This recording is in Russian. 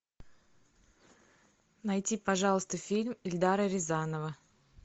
найди пожалуйста фильм эльдара рязанова